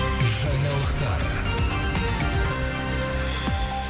жаңалықтар